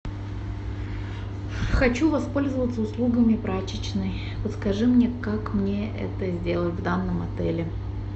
хочу воспользоваться услугами прачечной подскажи мне как мне это сделать в данном отеле